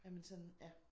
Jamen sådan ja